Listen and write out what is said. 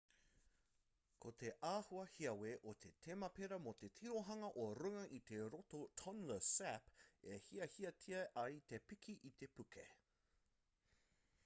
ko te āhua hiawe o te temepara me te tirohanga o runga i te roto tonle sap e hiahiatia ai te piki i te puke